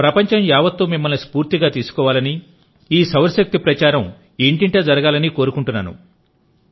ప్రపంచం యావత్తూ మిమ్మల్ని స్పూర్తిగా తీసుకోవాలని ఈ సౌరశక్తి ప్రచారం ఇంటింటా జరగాలని కోరుకుంటున్నాను